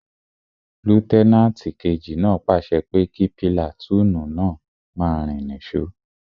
Lútẹ́nàtì kejì náà pàṣẹ pé kí pìlàtúùnù náà máa rìn ní sò